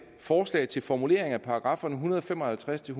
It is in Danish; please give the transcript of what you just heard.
forslag til formuleringer af paragraffer en hundrede og fem og halvtreds til